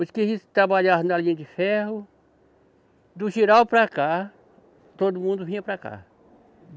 Os que trabalhavam na linha de ferro, do giral para cá, todo mundo vinha para cá.